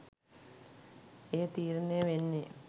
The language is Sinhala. එය තීරණය වෙන්නේ,